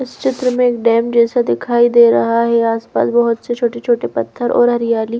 इस चित्र में एक डैम जैसा दिखाई दे रहा है आसपास बहुत से छोटे छोटे पत्थर और हरियाली--